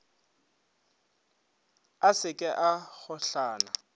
a se ke a gohlana